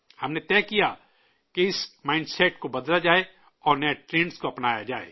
ہم نے طے کیا کہ اس مائنڈسیٹ کو بدلا جائے اور نئے ٹرینڈز کو اپنایا جائے